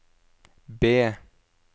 B